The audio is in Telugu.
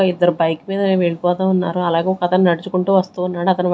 ఇద్దర్ బైక్ మీద వెళ్ళిపోతా ఉన్నారు అలాగే ఒకతను నడ్చుకుంటూ వస్తూ ఉన్నాడు అతన్ వై--